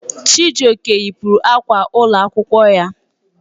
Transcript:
Chijioke yipụrụ akwa ụlọ akwụkwọ ya.